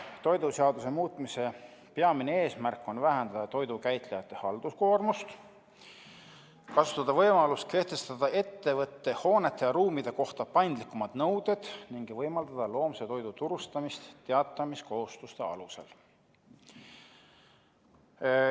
Toiduseaduse muutmise peamine eesmärk on vähendada toidu käitlejate halduskoormust, kasutada võimalust kehtestada ettevõtte hoonete ja ruumide kohta paindlikumad nõuded ning võimaldada loomse toidu turustamist teatamiskohustuste alusel.